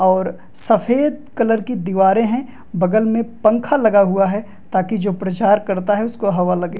और सफेद कलर की दीवारे है बगल में पंखा लगा हुआ है ताकि जो प्रचार करता है उसको हवा लगे।